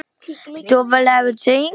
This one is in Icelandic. Lúsinda, opnaðu dagatalið mitt.